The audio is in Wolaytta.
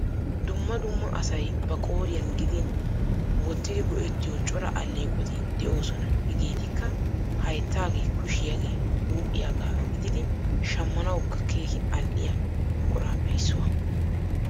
Dumma dumma asay ba qooriyan gidin wotyidi go'ettiyo cora alleeqoti de'oosona. Hegeetikka hayttaagee, kushiyagee huuphiyagaa gididi shammanawukka keehi al"iya buquraappe issuwa.